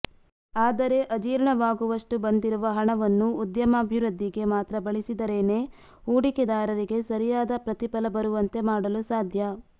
ಆದರೆ ಅಜೀರ್ಣವಾಗುವಷ್ಟು ಬಂದಿರುವ ಹಣವನ್ನು ಉದ್ಯಮಾಭಿವೃದ್ಧಿಗೆ ಮಾತ್ರ ಬಳಸಿದರೇನೇ ಹೂಡಿಕೆದಾರರಿಗೆ ಸರಿಯಾದ ಪ್ರತಿಫಲ ಬರುವಂತೆ ಮಾಡಲು ಸಾಧ್ಯ